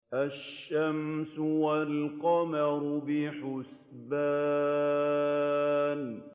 الشَّمْسُ وَالْقَمَرُ بِحُسْبَانٍ